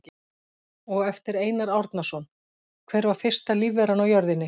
Og eftir Einar Árnason: Hver var fyrsta lífveran á jörðinni?